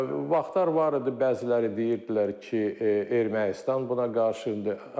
Vaxtlar var idi, bəziləri deyirdilər ki, Ermənistan buna qarşıdır.